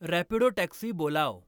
Rapido taxi बोलाव